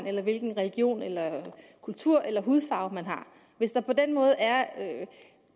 eller hvilken religion eller kultur eller hudfarve man har hvis der på den måde er